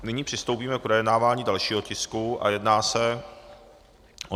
Nyní přistoupíme k projednávání dalšího tisku a jedná se o